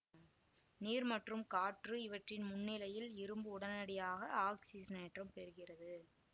நீர் மற்றும் காற்று இவற்றின் முன்னிலையில் இரும்பு உடனடியாக ஆக்சிஜனேற்றம் பெறுகிறது